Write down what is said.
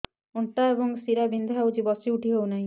ଅଣ୍ଟା ଏବଂ ଶୀରା ବିନ୍ଧା ହେଉଛି ବସି ଉଠି ହଉନି